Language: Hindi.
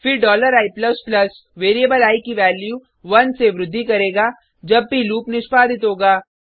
फिर i वेरिएबल आई की वैल्यू 1 से वृद्धि करेगा जब भी लूप निष्पादित होगा